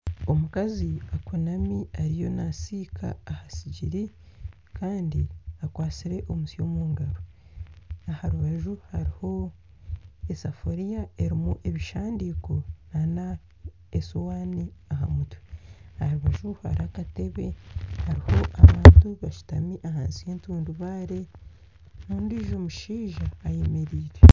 Omukazi akunami ariyo nasiika aha sigiri kandi akwatsire omusyo omungaro. Aharubaju hariho esafiriya erimu ebishandiko nana esuwani aha mutwe. Aharubaju hariho akatebe hariho abantu bashutami ahansi y'entundubaare ondijo mushaija ayemereire.